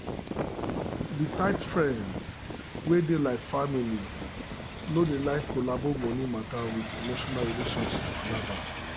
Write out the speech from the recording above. the tight friends wey dey like family no dey like collabo money matter with emotional relationship palava.